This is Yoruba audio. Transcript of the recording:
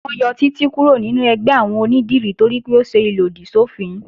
Wọ́n yọ Títí kúrò nínú ẹgbẹ́ àwọn onídìrí toripé ó ṣe ìlòdì sọ́fin